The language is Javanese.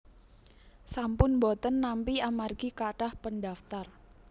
sampun mboten nampi amargi kathah pendaftar